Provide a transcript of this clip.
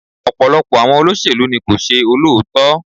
Ọ̀pọ̀lọpọ̀ àwọn olóṣèlú ni kò ṣe olóòótọ́.